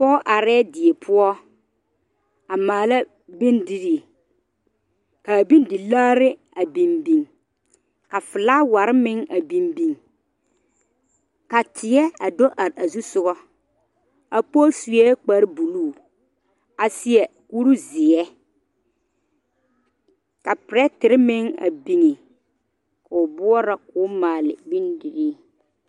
Pɔge arɛɛ die poɔ a maala bondirii ka a bondilaare a biŋ biŋ a felaaware meŋ a biŋ biŋ ka teɛ a do are a su soga a pɔge seɛ kparre buluu seɛ kuri zeɛ ka pɛrɛte meŋ a biŋ o boɔrɔ ka o maale bondirii.